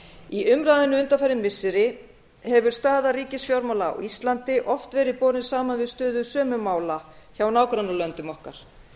í umræðunni undanfarin missiri hefur staða ríkisfjármála á íslandi oft verið borin saman við stöðu sömu mála hjá nágrannalöndum okkar